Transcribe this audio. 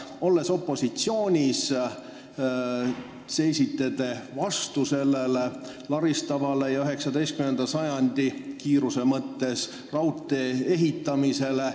Olles opositsioonis, seisite te vastu sellele laristavale ja kiiruse mõttes 19. sajandi raudtee ehitamisele.